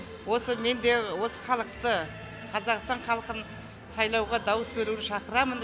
осы мен де осы халықты қазақстан халқын сайлауға дауыс беруіне шақырамын